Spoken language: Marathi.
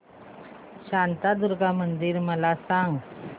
शांतादुर्गा मंदिर मला सांग